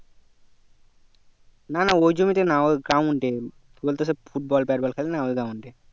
না না ও জমি তে না ওই ground কি বলতো সব bad ball খেলে না ওই ground এ